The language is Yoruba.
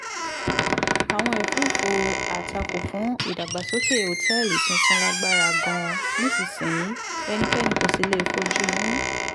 àwọn ẹ̀fúùfù àtakò fún ìdàgbàsókè òtẹ́ẹ̀lì tuntun lágbára gan-an nísinsìnyí ẹnikẹ́ni kò sì lè fojú inú